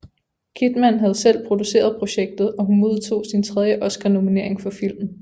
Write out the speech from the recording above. Kidman havde selv produceret projektet og hun modtog sin tredje Oscar nominering for filmen